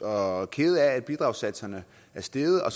og kede af at bidragssatserne er steget og